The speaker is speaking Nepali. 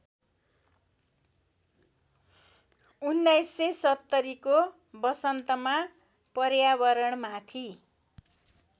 १९७०को वसन्तमा पर्यावरणमाथि